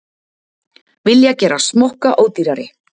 Vilja gera smokka ódýrari